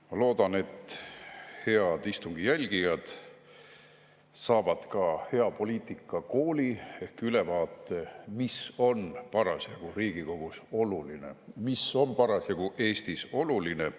Ma loodan, et head istungi jälgijad saavad ka hea poliitikakooli ehk ülevaate, mis on parasjagu Riigikogus oluline ja mis on parasjagu Eestis oluline.